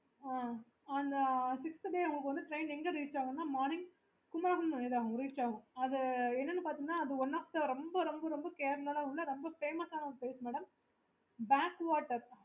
okay